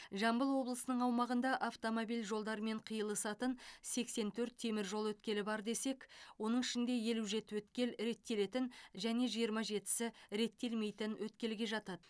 жамбыл облысының аумағында автомобиль жолдарымен қиылысатын сексен төрт теміржол өткелі бар десек оның ішінде елу жеті өткел реттелетін және жиырма жетісі реттелмейтін өткелге жатады